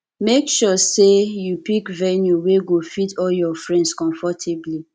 make sure say you pick venue wey go fit all your friends comfortably